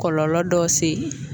Kɔlɔlɔ dɔ se